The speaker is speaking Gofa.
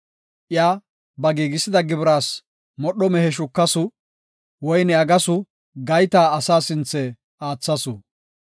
Iya ba giigisiya gibiras modho mehe shukasu; woyne aggasu; gayta asaa sinthe aathasu.